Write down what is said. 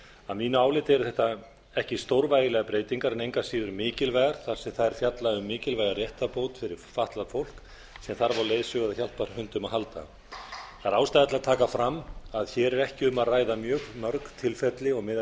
að mínu áliti eru þetta ekki stórvægilegar breytingar en engu að síður mikilvægar þar sem þær fjalla um mikilvæga réttarbót fyrir fatlað fólk sem þarf á leiðsögu eða hjálparhundum að halda það er ástæða til að taka fram að hér er ekki um að ræða mjög mörg tilfelli og miðað